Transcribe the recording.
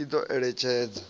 i do eletshedza